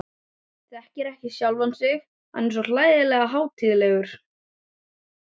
Þekkir ekki sjálfan sig, hann er svo hlægilega hátíðlegur.